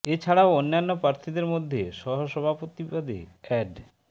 এ ছাড়াও অন্যান্য প্রার্থীদের মধ্যে সহ সভাপতি পদে অ্যাড